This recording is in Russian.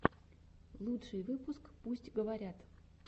лучший выпуск пусть говорят